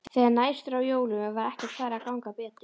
Þegar nær dró jólum var ekkert farið að ganga betur.